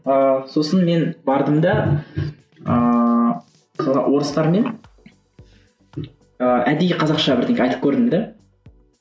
ыыы сосын мен бардым да ыыы орыстармен ыыы әдейі қазақша айтып көрдім де